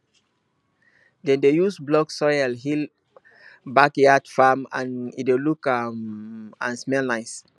dem dey use black soil heal backyard farm as e dey look um and smell nice